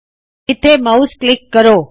ਇਸ ਜਗਹ ਮਾਉਸ ਨੂੰ ਕਲਿੱਕ ਕਰੋ